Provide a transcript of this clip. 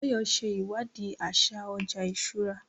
Báyọ̀ ṣe ìwádìí àṣà ọjà ìṣúra